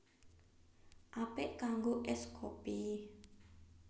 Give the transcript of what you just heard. Apik kanggo ès kopi